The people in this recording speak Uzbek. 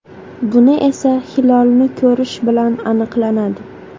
Buni esa hilolni ko‘rish bilan aniqlanadi.